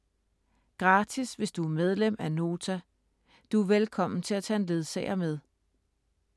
Gratis hvis du er medlem af Nota. Du er velkommen til at tage en ledsager med.